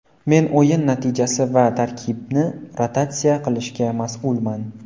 Men o‘yin natijasi va tarkibni rotatsiya qilishga mas’ulman.